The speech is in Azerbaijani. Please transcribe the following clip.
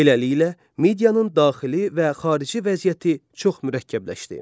Beləliklə, Midiyanın daxili və xarici vəziyyəti çox mürəkkəbləşdi.